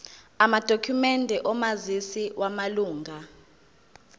amadokhumende omazisi wamalunga